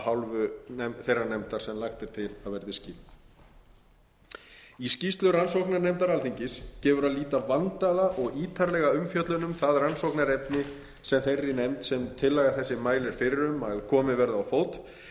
hálfu þeirrar nefndar sem lagt er til að skipuð verði í skýrslu rannsóknarnefndar alþingis gefur að líta vandaða og ítarlega umfjöllun um það rannsóknarefni sem þeirri nefnd sem tillaga þessi mælir fyrir um að verði komið á fót